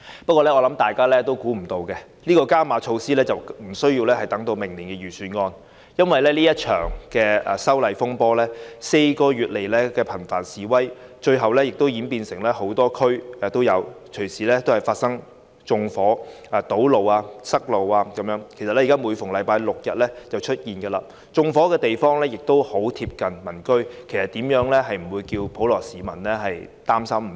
不過，我想大家始料不及的是，這些加碼措施無須等到明年的預算案便推出，因為這場修例風波，在過去4個月以來，示威活動頻繁，最後演變成多區示威，更隨時發生縱火、堵塞道路——其實每逢星期六日便會出現——而縱火地點十分鄰近民居，普羅市民怎會不擔心。